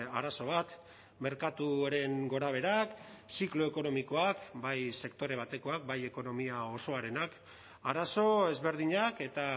arazo bat merkatuaren gorabeherak ziklo ekonomikoak bai sektore batekoak bai ekonomia osoarenak arazo ezberdinak eta